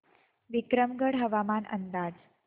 विक्रमगड हवामान अंदाज